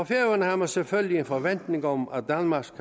færøerne har man selvfølgelig en forventning om at danmark